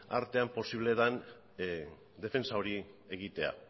artean posible den defentsa hori egitea